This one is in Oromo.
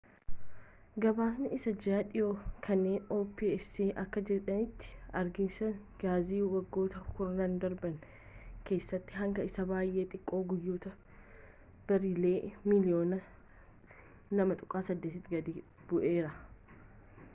gabaasa isaa ji'aa dhihoo kanaan opec akka jedhetti ergiinsi gaazii waggoota kurnan darban keessatti hanga isa baay'ee xiqqoo guyyaatti bareelii miliyyoona 2.8 tti gadi bu'eera